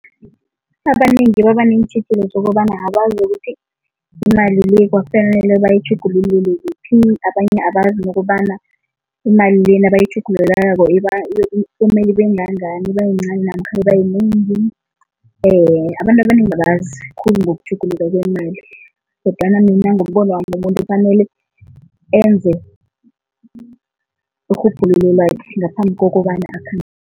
Abanengi babaneentjhijilo zokobana abazi nokuthi imali le kwafanele bayitjhugululele kuphi, abanye abazi nokobana imali le nabayitjhugululako kumele ibengangani, ibayincani namkha ibayinengi. Abantu abanengi abazi khulu ngokutjhuguluka kwemali kodwana mina ngombonwami umuntu kufanele enze irhubhululo lakhe ngaphambi kokobana